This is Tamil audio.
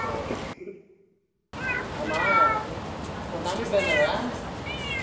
ஆமா உ~ உன் தம்பி பேர் என்னது